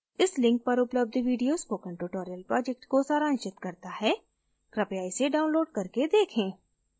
इस link पर उपलब्ध video spoken tutorial project को सारांशित करता है कृपया इसे download करके देखें